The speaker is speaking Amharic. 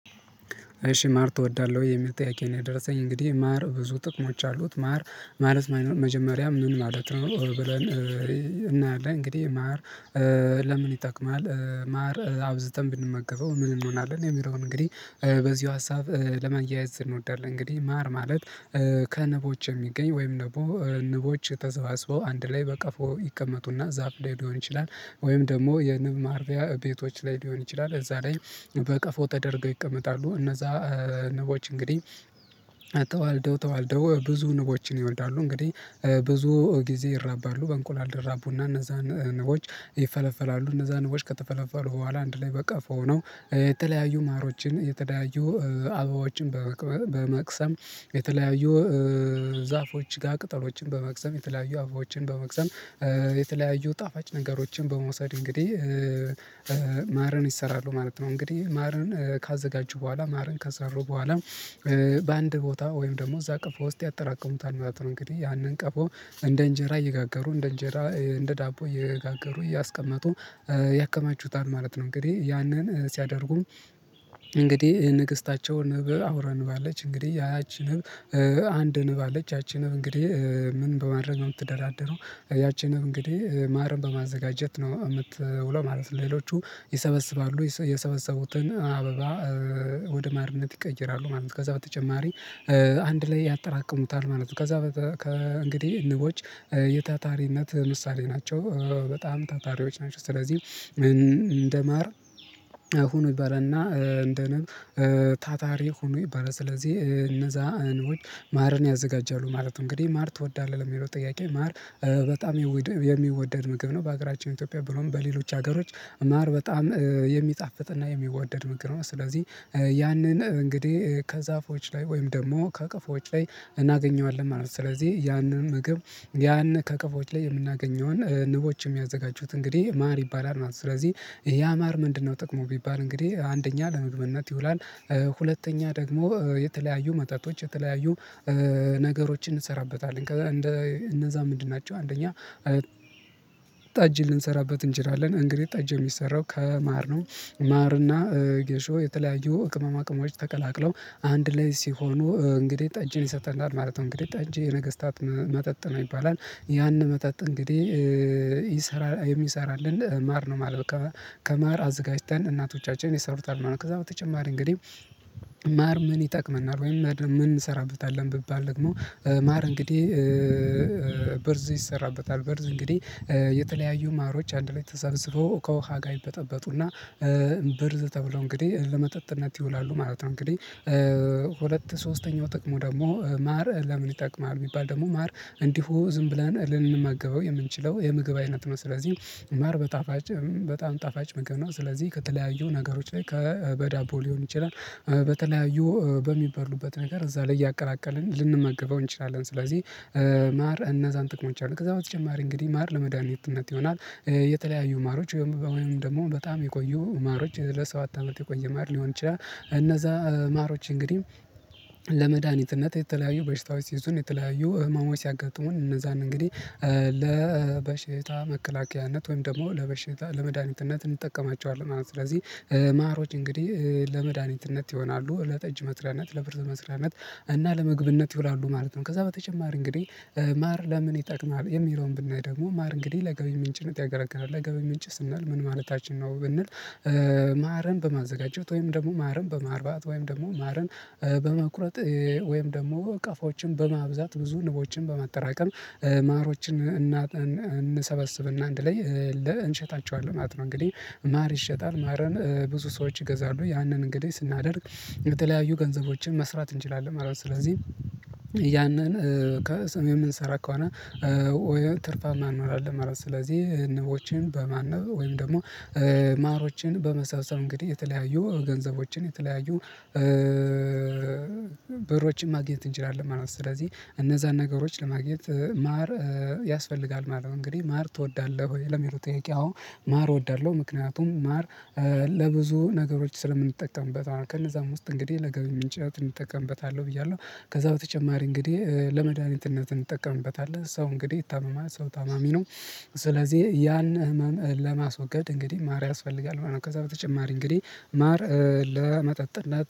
እሺ ማር ትወዳለህ ወይ? የሚል ጥያቄ ነው የደረሰኝ እንግዲህ ማር ብዙ ጥቅሞች አሉት ማር ማለት መጀመሪያ ምን ማለት ነው። ብለን እናያለን እንግዲህ ማር ለምን ይጠቅማል? ማር አብዝተን ብንመገበው ምን እንሆናለን የሚለውን እንግዲህ በዚሁ ሀሳብ ለማያያዝ እንወዳለን። እንግዲህ ማር ማለት ከንቦች የሚገኝ ወይም ደግሞ ንቦች ተሰባስበው አንድ ላይ በቀፎ ይቀመጡና ዛፍ ላይ ሊሆን ይችላል ወይም ደግሞ የንብ ማርቢያ ቤቶች ላይ ሊሆን ይችላል። እዛ ላይ በቀፎ ተደርገው ይቀመጣሉ እነዛ ንቦች እንግዲህ ተዋልደው ተዋልደው ብዙ ንቦችን ይወልዳሉ። እንግዲህ ብዙ ጊዜ ይራባሉ በእንቁላል ይራቡና እነዛን ንቦች ይፈለፈላሉ። እነዛን ንቦች ከተፈለፈሉ በኋላ አንድ ላይ በቀፎ ሆኖ የተለያዩ ማሮችን የተለያዩ አበባዎችን በመቅሰም የተለያዩ ዛፎች ጋር ቅጠሎችን በመቅሰም የተለያዩ አበቦችን በመቅሰም የተለያዩ ጣፋጭ ነገሮችን በመውሰድ እንግዲህ ማርን ይሰራሉ ማለት ነው። እንግዲህ ማርን ካዘጋጁ በኋላ ማርን ከሰሩ በኋላ በአንድ ቦታ ወይም ደግሞ እዛ ቀፎ ውስጥ ያጠራቅሙታል ማለት ነው። እንግዲህ ያንን ቀፎ እንደ እንጀራ እየጋገሩ እንደ እንጀራ እንደ ዳቦ እየጋገሩ እያስቀመጡ ያከማቹታል ማለት ነው። እንግዲህ ያንን ሲያደርጉም እንግዲህ ንግስታቸውን አውራ ንብ አለች እንግዲህ ያቺ አንድ ንብ አለች ያቺ ንብ እንግዲህ ምን በማድረግ ነው የምትደራደረው? ያቺ ንብ እንግዲህ ማርን በማዘጋጀት ነው የምትውለው ማለት ነው። ሌሎቹ ይሰበስባሉ የሰበሰቡትን አበባ ወደ ማርነት ይቀይራሉ ማለት ነው። ከዛ በተጨማሪ አንድ ላይ ያጠራቅሙታል ማለት ነው። ከዛ ከእንግዲህ ንቦች የታታሪነት ምሳሌ ናቸው በጣም ታታሪዎች ናቸው። ስለዚህ እንደማር ይባላል እና እንደ ነብ ታታሪ ሁኑ ይባላል። ስለዚህ እነዛ ንቦች ማርን ያዘጋጃሉ ማለት ነው። እንግዲህ ማር ትወዳለህ ለሚለው ጥያቄ ማር በጣም የሚወደድ ምግብ ነው። በሀገራችን ኢትዮጵያ ብሎም በሌሎች ሀገሮች ማር በጣም የሚጣፍጥና የሚወደድ ምግብ ነው። ስለዚህ ያንን እንግዲህ ከዛፎች ላይ ወይም ደግሞ ከቀፎች ላይ እናገኘዋለን ማለት ነው። ስለዚህ ያንን ምግብ ያን ከቀፎች ላይ የምናገኘውን ንቦች የሚያዘጋጁት እንግዲህ ማር ይባላል ማለት ነው። ስለዚህ ያ ማር ምንድነው ጥቅሙ ቢባል እንግዲህ አንደኛ ለምግብነት ይውላል። ሁለተኛ ደግሞ የተለያዩ መጠጦች የተለያዩ ነገሮችን እንሰራበታለን እንደ እነዛ ምንድን ናቸው? አንደኛ ጠጅ ልንሰራበት እንችላለን እንግዲህ ጠጅ የሚሰራው ከማር ነው። ማርና ጌሾ የተለያዩ ቅመማ ቅመሞች ተቀላቅለው አንድ ላይ ሲሆኑ እንግዲህ ጠጅን ይሰጠናል ማለት ነው። እንግዲህ ጠጅ የነገስታት መጠጥ ነው። ይባላል ያን መጠጥ እንግዲህ ይሰራል የሚሰራልን ማር ነው። ማለት ከማር አዘጋጅተን እናቶቻችን ይሰሩታል ማለት ነው። ከዛ በተጨማሪ እንግዲህ ማር ምን ይጠቅመናል? ወይም ምን እንሰራበታለን ብባል ደግሞ ማር እንግዲህ ብርዝ ይሰራበታል ብርዝ እንግዲህ የተለያዩ ማሮች አንድ ላይ ተሰብስበው ከውሃ ጋር ይበጠበጡና ብርዝ ተብለው እንግዲህ ለመጠጥነት ይውላሉ ማለት ነው። እንግዲህ ሁለት ሶስተኛው ጥቅሙ ደግሞ ማር ለምን ይጠቅማል ቢባል ደግሞ ማር እንዲሁ ዝም ብለን ልንመገበው የምንችለው የምግብ አይነት ነው። ስለዚህ ማር በጣፋጭ በጣም ጣፋጭ ምግብ ነው። ስለዚህ ከተለያዩ ነገሮች ላይ ከበዳቦ ሊሆን ይችላል በተለያዩ በሚበሉበት ነገር እዛ ላይ እያቀላቀልን ልንመገበው እንችላለን። ስለዚህ ማር እነዛን ጥቅሞች አሉ ከዛ በተጨማሪ እንግዲህ ማር ለመድኃኒትነት ይሆናል። የተለያዩ ማሮች ወይም ደግሞ በጣም የቆዩ ማሮች ለሰባት አመት የቆየ ማር ሊሆን ይችላል። እነዛ ማሮች እንግዲህ ለመድኃኒትነት የተለያዩ በሽታዎች ሲይዙን የተለያዩ ህመሞች ሲያጋጥሙን እነዛን እንግዲህ ለበሽታ መከላከያነት ወይም ደግሞ ለበሽታ ለመድኃኒትነት እንጠቀማቸዋለን ማለት ነው። ስለዚህ ማሮች እንግዲህ ለመድኃኒትነት ይሆናሉ ለጠጅ መስሪያነት ለብርዝ መስሪያነት እና ለምግብነት ይውላሉ ማለት ነው። ከዛ በተጨማሪ እንግዲህ ማር ለምን ይጠቅማል የሚለውን ብናይ ደግሞ ማር እንግዲህ ለገቢ ምንጭነት ያገለግላል ለገቢ ምንጭ ስንል ምን ማለታችን ነው? ብንል ማርን በማዘጋጀት ወይም ደግሞ ማርን በማርባት ወይም ደግሞ ማርን በመቁረጥ ወይም ደግሞ ቀፎዎችን በማብዛት ብዙ ንቦችን በማጠራቀም ማሮችን እናጠን እንሰበስብና አንድ ላይ እንሸጣቸዋለን ማለት ነው። እንግዲህ ማር ይሸጣል ማርን ብዙ ሰዎች ይገዛሉ ያንን እንግዲህ ስናደርግ የተለያዩ ገንዘቦችን መስራት እንችላለን ማለት ነው። ስለዚህ ያንን ከሰም የምንሰራ ከሆነ ወይ ትርፋማ እንሆናለን ማለት ነው። ስለዚህ ንቦችን በማነብ ወይም ደግሞ ማሮችን በመሰብሰብ እንግዲህ የተለያዩ ገንዘቦችን የተለያዩ ብሮችን ማግኘት እንችላለን ማለት ነው። ስለዚህ እነዛን ነገሮች ለማግኘት ማር ያስፈልጋል ማለት ነው። እንግዲህ ማር ትወዳለህ ወይ? ለሚለው ጥያቄ አዎ ማር እወዳለሁ። ምክንያቱም ማር ለብዙ ነገሮች ስለምንጠቀምበት ማለት ነው። ከነዛም ውስጥ እንግዲህ ለገቢ ምንጭነት እጠቀምበታለሁ ብያለሁ ከዛ በተጨማሪ እንግዲህ ለመድኃኒትነት እንጠቀምበታለን ሰው እንግዲህ ይታመማል ሰው ታማሚ ነው። ስለዚህ ያን ህመም ለማስወገድ እንግዲህ ማር ያስፈልጋል ከዛ በተጨማሪ እንግዲህ ማር ለመጠጥነት